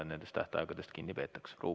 Ruuben Kaalep, palun!